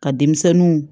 Ka denmisɛnninw